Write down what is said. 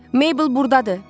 Mabel burdadır.